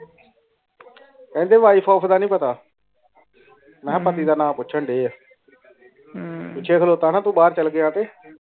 ਕੈਂਦੇ ਵਾਈਫ ਦਾ ਨਾਈ ਪਤਾ ਮੀਨ੍ਹਾ ਪਤੀ ਦਾ ਨਾ ਪੂਛਾਂ ਦੀਆ ਪਿੱਛੇ ਖੋਲਤਾ ਨੇ ਤੂੰ ਬਾਰ ਚਲਿਆ ਗਿਆ ਤੇ